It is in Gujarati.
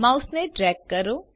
માઉસને ડ્રેગ કરો